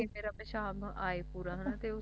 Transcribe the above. ਤਾਂ ਕਿ ਮੇਰਾ ਪਿਸ਼ਾਬ ਆਏ ਪੂਰਾ ਹੈ ਨਾ